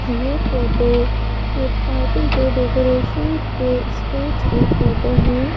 ये फोटो एक पार्टी के डेकोरेशन के स्टेज की फोटो है।